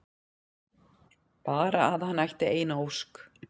Bara að hann ætti eina ósk!